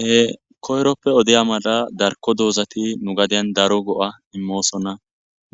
he koyroppe odeya mala darko doozati nu gadiyan daro go7a immoosonna